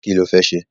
Kí lo fẹ́ ṣe?